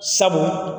Sabu